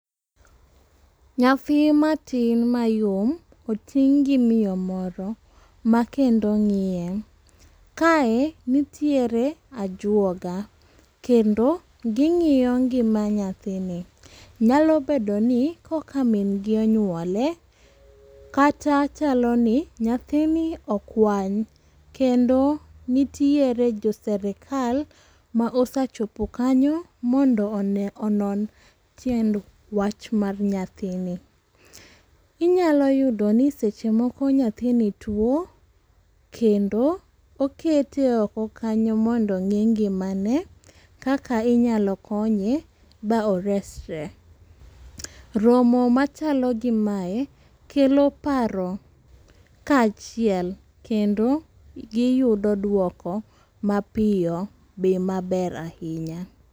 Nyathi matin mayom oting' gi miyo moro ma kendo ng'iye. Kae nitiere ajwoga. Kendo ging'iyo ngima nyathini. Nyalo bedo no koka min gi onyuole, kata chalo ni nyathini okwany, kendo nitiere jo serikal ma osechopo kanyo mondo one, onon tiend wach mar nyathini. Inyalo yudo ni seche moko nyathini two, kendo okete oko kanyo mondo ong'i ngimane. Kaka inyalo konye, ba oresre. Romo machalo gi mae kelo paro ka achiel kendo giyudo dwoko mapiyo be maber ahinya.